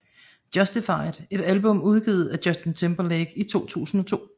Justified et album udgivet af Justin Timberlake i 2002